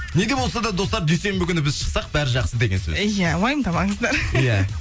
не де болса да достар дүйсенбі күні біз шықсақ бәрі жақсы деген сөз иә уайымдамаңыздар иә